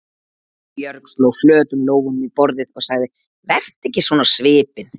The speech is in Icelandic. Björg sló flötum lófunum í borðið og sagði: Vertu ekki svona á svipinn.